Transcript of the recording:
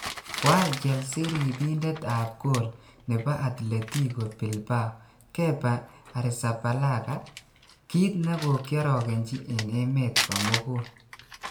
Koal chelsea ripindet ap goal nepo altletico bilbao Kepa Arrizabalaga kit negikiorogenji en emet komugul.